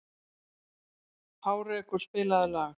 Hárekur, spilaðu lag.